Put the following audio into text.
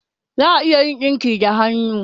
Za'a a iya yin dinki da hannu